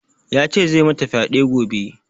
Ya ce zai mata fyaɗe gobe